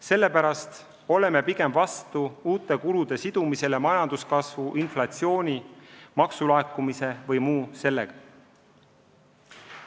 Sellepärast oleme pigem vastu uute kulude sidumisele majanduskasvu, inflatsiooni, maksulaekumise või muu sellisega.